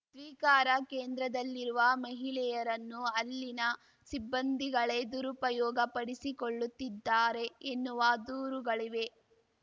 ಸ್ವೀಕಾರ ಕೇಂದ್ರದಲ್ಲಿರುವ ಮಹಿಳೆಯರನ್ನು ಅಲ್ಲಿನ ಸಿಬ್ಬಂದಿಗಳೆ ದುರುಪಯೋಗ ಪಡಿಸಿಕೊಳ್ಳುತ್ತಿದ್ದಾರೆ ಎನ್ನುವ ದೂರುಗಳಿವೆ